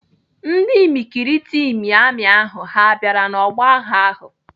Ndị imikiriti imi amị ahụ niile ha bịara n'ọgbọ agha ahụ?